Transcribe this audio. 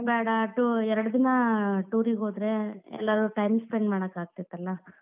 ಬ್ಯಾಡಾ two ಎರಡ್ ದಿನ tour ಗೆ ಹೋದ್ರೆ ಎಲ್ಲಾರೂ time spend ಮಾಡಾಕ್ ಆಗ್ತೇತಲ್ಲ.